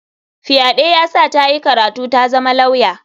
Fyaɗe ya sa ta yi karatu tazama lauya.